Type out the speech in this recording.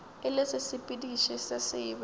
e le sesepediši se sebe